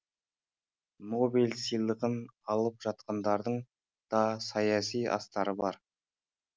нобель сыйлығын алып жатқандардың да саяси астары бар